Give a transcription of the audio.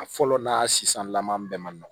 A fɔlɔ n'a sisan lama bɛɛ ma nɔgɔ